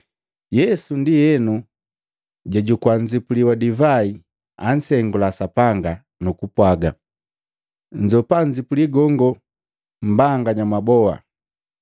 Yesu ndienu jajukua nzipuli wa divai, ansengula Sapanga, nukupwaaga, “Nzoopa nzipuli gongo mmbagana mwaboa.